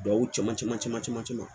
Duw caman caman caman